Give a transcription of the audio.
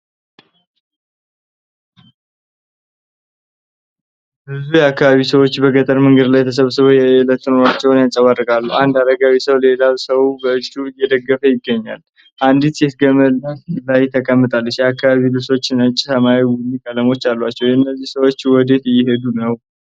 ብዙ የአካባቢው ሰዎች በገጠር መንገድ ላይ ተሰብስበው የየዕለት ኑሮአቸውን ያንፀባርቃሉ። አንድ አረጋዊ ሰው ሌላውን ሰው በእጁ እየደገፈ ይገኛል፤ አንዲት ሴት ግመል ላይ ተቀምጣለች። የአካባቢው ልብሶች ነጭ፣ ሰማያዊና ቡኒ ቀለሞች አሏቸው። እነዚህ ሰዎች ወዴት እየሄዱ ነው?